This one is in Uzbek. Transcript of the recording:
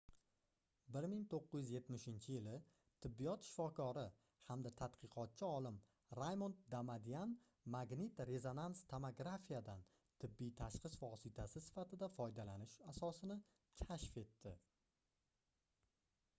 1970-yili tibbiyot shifokori hamda tadqiqotchi olim raymond damadian magnit-rezonans tomografiyadan tibbiy tashxis vositasi sifatida foydalanish asosini kashf etdi